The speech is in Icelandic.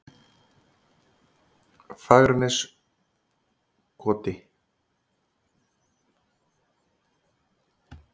Fagraneskoti